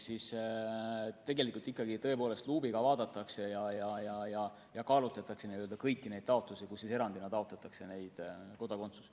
Tegelikult ikka tõepoolest luubiga vaadatakse ja kaalutakse kõiki neid taotlusi, millega erandina kodakondsust taotletakse.